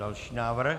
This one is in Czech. Další návrh.